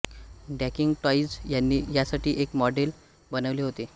dunking toys यांनी यासाठी एक मॉडेल बनवले होते